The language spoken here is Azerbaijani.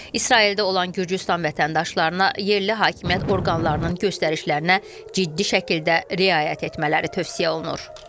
İsraildə olan Gürcüstan vətəndaşlarına yerli hakimiyyət orqanlarının göstərişlərinə ciddi şəkildə riayət etmələri tövsiyə olunur.